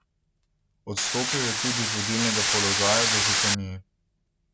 Odstopila je tudi z vodilnega položaja v županiji.